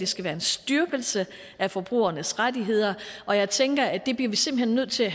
skal være en styrkelse af forbrugernes rettigheder og jeg tænker at det bliver vi simpelt hen nødt til at